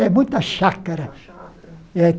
É, muita chácara. É